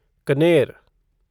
कनेर